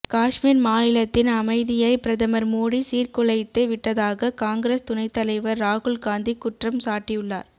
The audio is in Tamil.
காஷ்மீர் மாநிலத்தின் அமைதியை பிரதமர் மோடி சீர்குலைத்து விட்டதாக காங்கிரஸ் துணைத்தலைவர் ராகுல்காந்தி குற்றம் சாட்டியுள்ளார்